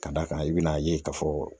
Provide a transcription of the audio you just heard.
Ka d'a kan i be n'a ye ka fɔ